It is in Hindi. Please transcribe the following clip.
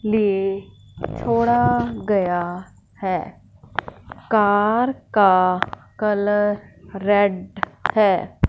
लिए छोड़ा गया है कार का कलर रेड है।